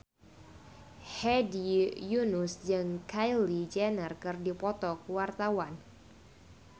Hedi Yunus jeung Kylie Jenner keur dipoto ku wartawan